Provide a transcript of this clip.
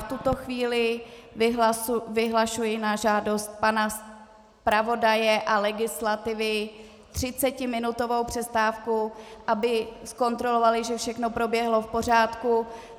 V tuto chvíli vyhlašuji na žádost pana zpravodaje a legislativy třicetiminutovou přestávku, aby zkontrolovali, že všechno proběhlo v pořádku.